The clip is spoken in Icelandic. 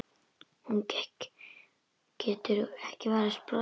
Hún getur ekki varist brosi.